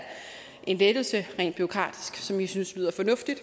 en lettelse rent bureaukratisk som vi synes lyder fornuftigt